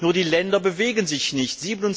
Nur die Länder bewegen sich nicht.